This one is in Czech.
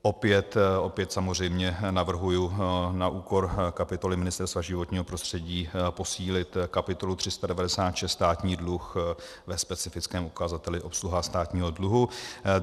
Opět samozřejmě navrhuji na úkor kapitoly Ministerstva životního prostředí posílit kapitolu 396 Státní dluh ve specifickém ukazateli obsluha státního dluhu.